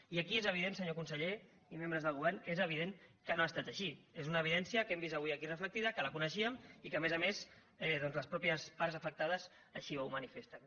i aquí és evident senyor conseller i membres del govern que és evident que no ha estat així és una evidència que hem vist avui aquí reflectida que la coneixíem i que a més a més doncs les mateixes parts afectades així ho manifesten